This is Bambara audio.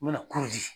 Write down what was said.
U bɛna